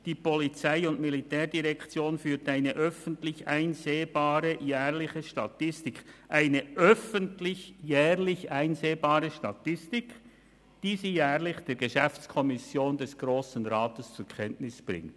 «Die Polizei- und Militärdirektion führt eine öffentlich einsehbare jährliche Statistik über eingegangene Aufsichtsbeschwerden, die sie jährlich der Geschäftsprüfungskommission des Grossen Rates zur Kenntnis bringt.»